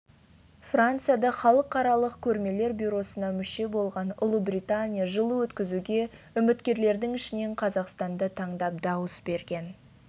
францияда халықаралық көрмелер бюросына мүше болған ұлыбритания жылы өткізуге үміткерлердің ішінен қазақстанды таңдап дауыс берген